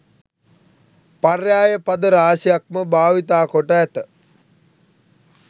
පර්යාය පද රාශියක්ම භාවිතා කොට ඇත.